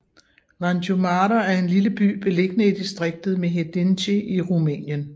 Vânju Mare er en lille by beliggende i distriktet Mehedinţi i Rumænien